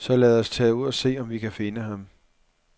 Så lad os tage ud og se, om vi kan finde ham.